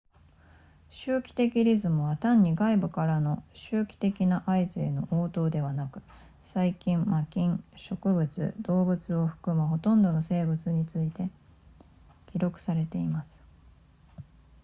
周期的リズムは単に外部からの周期的な合図への応答ではなく細菌真菌植物動物を含むほとんどの生物について記録されています